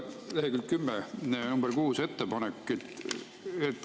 Lehekülg 10, ettepanek nr 6.